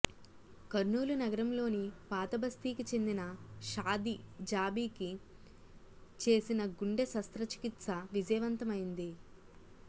కర్నూలు నగరంలోని పాతబస్తీకి చెందిన షాదిజాబీకి చేసిన గుండె శస్తచ్రికిత్స విజయవంతమైంది